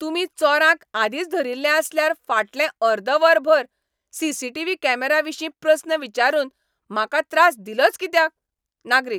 तुमी चोरांक आदींच धरिल्लो आसल्यार फाटलें अर्द वर भर सी.सी.टी.व्ही. कॅमेरा विशीं प्रस्न विचारून म्हाका त्रास दिलोच कित्याक? नागरीक